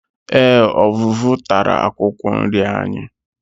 Eé, ọvụvụ tara akwụkwọ nri anyị.